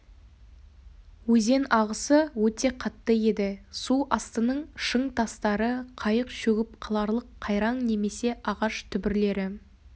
өзен ағысы өте қатты еді су астының шың тастары қайық шөгіп қаларлық қайраң немесе ағаш түбірлері